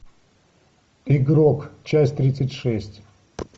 игрок часть тридцать шесть